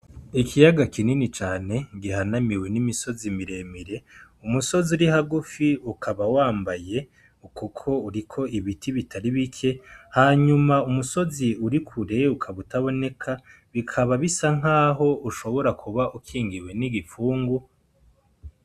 Ikiyaga kinini cane gihanamiwe n’imisozi miremire , umusozi uri hagufi ikaba wambaye Kuko uriko ibiti bitari bike hanyuma umusozi uri kure ukaba utaboneka , bikaba bisa nk’aho ushobora kuba ukingiwe n’igipfungu.